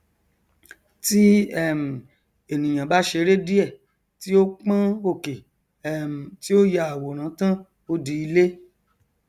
tí um ènìà bá ṣeré díè tí ó pọn òkè um tí ó ya àwòrán tán ó di ilé